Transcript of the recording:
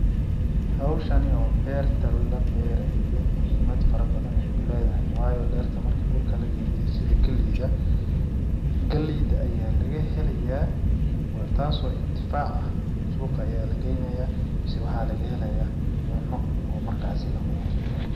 Hawshani oo berta la beerayo muhimad fara badan ayay ledahay waayo dhirta markii dhulka sidi galeyda, galeyda ayaa laga helayaa taas oo intifaac ah suuqa ayaa lageynayaa mise waxaa laga helayaa cuno oo markaasi lacuno.